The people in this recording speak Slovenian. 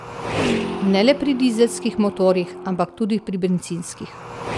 Ne le pri dizelskih motorjih, ampak tudi pri bencinskih.